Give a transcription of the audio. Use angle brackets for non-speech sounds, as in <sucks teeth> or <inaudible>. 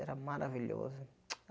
Era maravilhoso. <sucks teeth>